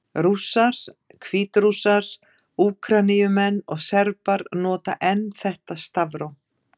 Rússar, Hvítrússar, Úkraínumenn og Serbar nota enn þetta stafróf.